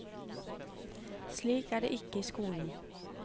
Slik er det ikke i skolen.